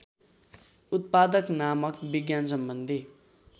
उत्पादक नामक विज्ञानसम्बन्धी